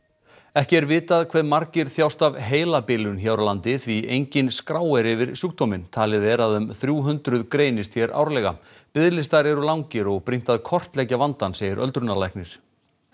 ekki er vitað hve margir þjást af heilabilun hér á landi því engin skrá er yfir sjúkdóminn talið er að þrjú hundruð greinist hér árlega biðlistar eru langir og brýnt að kortleggja vandann segir öldrunarlæknir